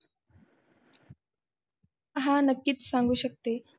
हा नक्कीच सांगू शकते.